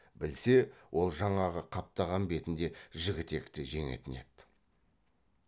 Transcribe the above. білсе ол жаңағы қаптаған бетінде жігітекті жеңетін еді